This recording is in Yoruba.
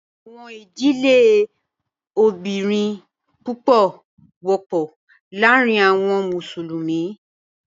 Àwọn idílẹ̀ ilòbìrín púpọ̀ wọpọ lárìn àwọn Musulumi.